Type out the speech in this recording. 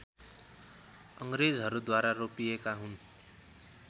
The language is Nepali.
अङ्ग्रेजहरूद्वारा रोपिएका हुन्